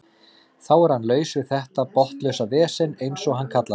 Þar er hann laus við þetta botnlausa vesen eins og hann kallar það.